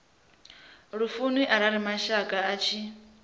lufuni arali mashaka vha tshi